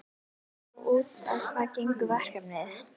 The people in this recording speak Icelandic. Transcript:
En út á hvað gengur verkefnið?